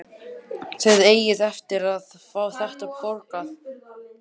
Þið eigið eftir að fá þetta borgað!